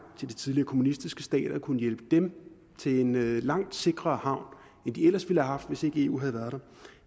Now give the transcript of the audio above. til de tidligere kommunistiske stater og har kunnet hjælpe dem til en langt sikrere havn end de ellers ville have haft hvis ikke eu havde været der